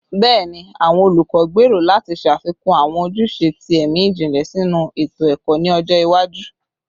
Bẹẹni, awọn olukọ gbero lati ṣafikun awọn ojuse ti ẹmi jinlẹ sinu eto-ẹkọ ni ọjọ iwaju